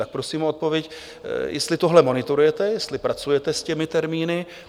Tak prosím o odpověď, jestli tohle monitorujete, jestli pracujete s těmi termíny.